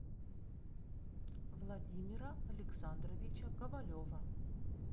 владимира александровича ковалева